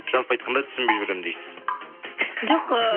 жалпы айтқанда түсінбей жүремін дейсіз жоқ ы